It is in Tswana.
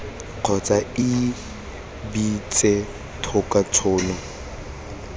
kgotsa ii beetse thoko tshono